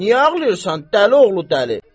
Niyə ağlayırsan dəli oğlu dəli?